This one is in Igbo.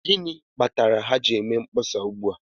Gịnị kpatara ha ji eme mkpọsa ugbu a?